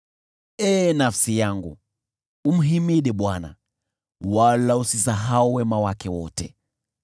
Ee nafsi yangu, umhimidi Bwana , wala usisahau wema wake wote,